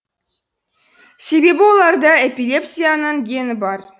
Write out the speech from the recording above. себебі оларда эпилепсияның гені бар